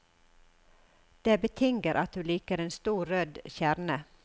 Det betinger at du liker en stor, rød kjerne.